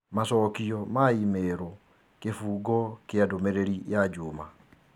Macokio ma i-mīrū kĩbungo kĩa ndũmĩrĩri ya Juma